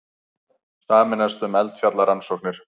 Sameinast um eldfjallarannsóknir